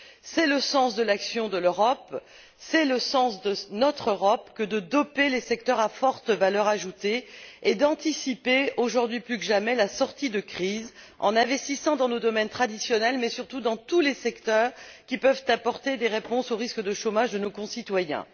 C'est le sens de l'action de l'Europe, c'est le sens de notre Europe que de doper les secteurs à forte valeur ajoutée et d'anticiper, aujourd'hui plus que jamais, la sortie de crise en investissant dans nos domaines traditionnels, mais surtout dans tous les secteurs qui peuvent apporter des réponses aux risques de chômage de nos concitoyens.